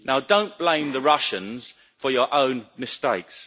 Now, don't blame the Russians for your own mistakes.